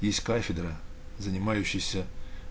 есть кафедра занимающаяся